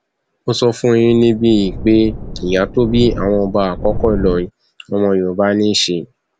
mo sọ fún yín níbí yìí pé ìyá tó bí àwọn ọba àkọkọ ìlọrin ọmọ yorùbá ní í ṣe